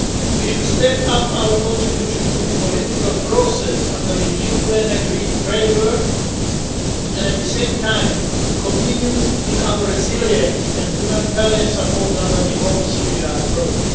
We should step up our contribution to the political process under the UN agreed framework and at the same time continue in our resilience and humanitarian support under the Whole Syria' approach.